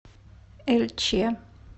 эльче